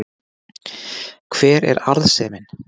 hver er arðsemin